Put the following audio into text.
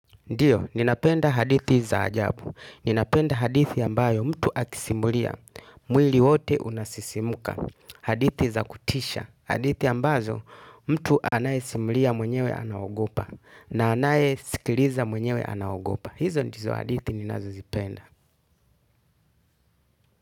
Ndiyo, ninapenda hadithi za ajabu. Ninapenda hadithi ambazo mtu akisimulia, mwili wote unasisimuka; hadithi za kutisha ambazo mtu anapozisimulia mwenyewe anaziogopa, na anayezisikiliza mwenyewe anaziogopa. Hizo ndizo hadithi ninazozipenda.